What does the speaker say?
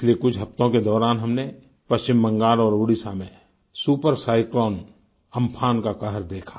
पिछले कुछ हफ़्तों के दौरान हमने पश्चिम बंगाल और ओडिशा में सुपर साइक्लोन अम्फान का कहर देखा